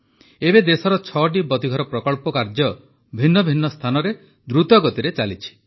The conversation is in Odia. ଏବେ ଦେଶର ଛଅଟି ବତୀଘର ପ୍ରକଳ୍ପ କାର୍ଯ୍ୟ ଭିନ୍ନ ଭିନ୍ନ ସ୍ଥାନରେ ଦ୍ରୁତ ଗତିରେ ଚାଲିଛି